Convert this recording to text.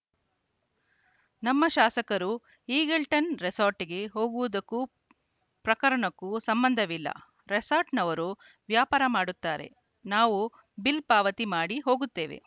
ನಮ್ಮ ಶಾಸಕರು ಈಗಲ್ಟನ್‌ ರೆಸಾರ್ಟ್‌ಗೆ ಹೋಗುವುದಕ್ಕೂ ಪ್ರಕರಣಕ್ಕೂ ಸಂಬಂಧವಿಲ್ಲ ರೆಸಾರ್ಟ್‌ನವರು ವ್ಯಾಪಾರ ಮಾಡುತ್ತಾರೆ ನಾವು ಬಿಲ್‌ ಪಾವತಿ ಮಾಡಿ ಹೋಗುತ್ತೇವೆ